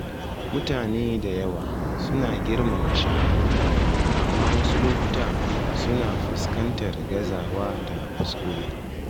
Mutane da yawa suna girmama shahararru, amma wasu lokuta suna fuskantar gazawa da kuskure.